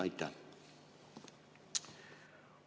Aitäh!